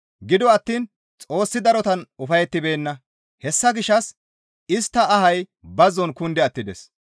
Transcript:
Gido attiin Xoossi darotan ufayettibeenna; hessa gishshas istta ahay bazzon kundi attides.